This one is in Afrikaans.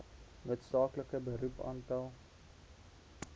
noodsaaklike beroep aantal